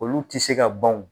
Olu tɛ se ka ban o